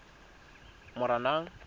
moranang